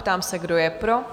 Ptám se, kdo je pro?